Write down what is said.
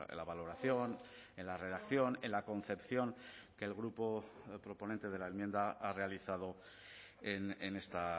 la valoración en la redacción en la concepción que el grupo proponente de la enmienda ha realizado en esta